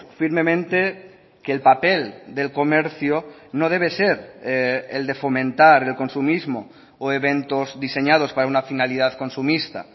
firmemente que el papel del comercio no debe ser el de fomentar el consumismo o eventos diseñados para una finalidad consumista